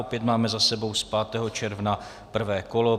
Opět máme za sebou z 5. června prvé kolo.